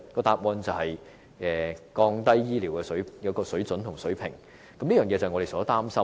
答案便是降低醫療水準，這是我們所擔心的。